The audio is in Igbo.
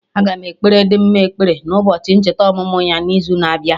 Aga m ekpere Dimma ekpere na ụbọchị ncheta ọmụmụ ya na izu na-abịa